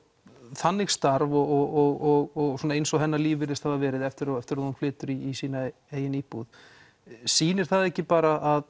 þannig starf og eins og hennar líf virðist hafa verið eftir eftir að hún flytur í sína eigin íbúð sýnir það ekki bara að